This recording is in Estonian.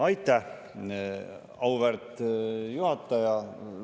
Aitäh, auväärt juhataja!